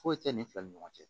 Foyi tɛ ni fila ni ɲɔgɔn cɛ